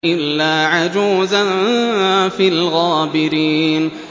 إِلَّا عَجُوزًا فِي الْغَابِرِينَ